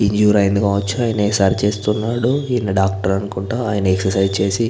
Injury అయ్యింది కావచ్చు ఆయన సరి చేస్తున్నారు. ఈయన డాక్టర్ అనుకుంటా ఆయన ఎక్ససైజ్ చేసి --